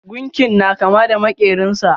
Gunkin na kama da makerin sa.